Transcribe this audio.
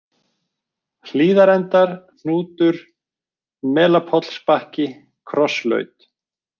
Hlíðarendar, Hnútur, Melapollsbakki, Krosslaut